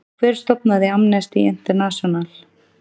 Hver stofnaði Amnesty International?